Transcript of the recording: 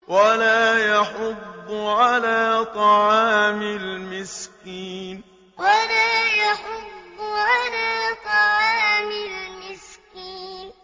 وَلَا يَحُضُّ عَلَىٰ طَعَامِ الْمِسْكِينِ وَلَا يَحُضُّ عَلَىٰ طَعَامِ الْمِسْكِينِ